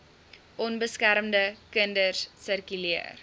onbeskermde kinders sirkuleer